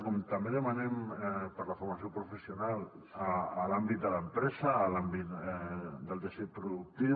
com també demanem per la formació professional a l’àmbit de l’empresa a l’àmbit del teixit productiu